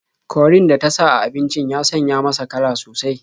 Korin da ta sa a abincin ya sanya masa kala sosai.